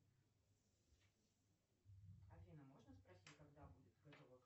афина можно спросить когда будет готово